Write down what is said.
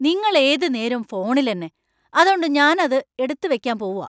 നിങ്ങള്‍ ഏതു നേരോം ഫോണിലെന്നെ, അതോണ്ട് ഞാൻ അത് എടുത്തു വെക്കാൻ പോവാ.